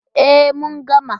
E, mun gama.